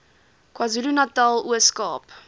kwazulunatal ooskaap